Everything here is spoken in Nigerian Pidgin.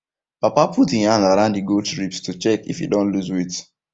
papa put e hand around the goats ribs to check if e don loose weight